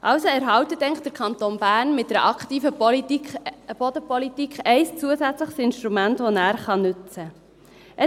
Also erhält eigentlich der Kanton Bern mit einer aktiven Bodenpolitik ein zusätzliches Instrument, das er nutzen kann.